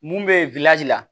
Mun bɛ la